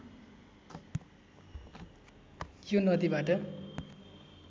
यो नदीबाट